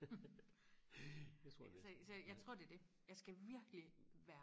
så så jeg tror det er det jeg skal virkelig være